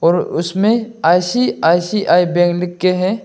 अ उसमें ICICI bank लिख के है।